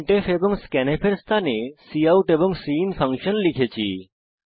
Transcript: printf এবং scanf এর স্থানে কাউট এবং সিআইএন ফাংশন লিখেছি